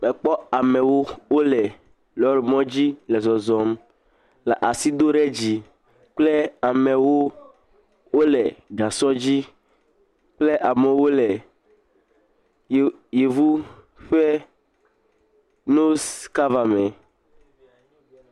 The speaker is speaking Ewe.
Mekpɔ amewo wole lɔ̃rimɔdzi le zɔzɔm le asi do ɖe dzi kple amewo wole gasɔ dzi kple amewo le yevu ƒe nos kava me.